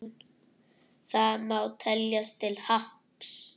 Það má teljast til happs.